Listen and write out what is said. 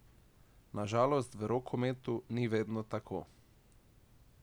Na žalost v rokometu ni vedno tako.